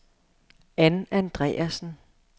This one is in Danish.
Ann Andreasen